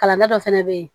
Kalan da dɔ fɛnɛ bɛ yen